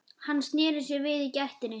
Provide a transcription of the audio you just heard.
Hann sneri sér við í gættinni.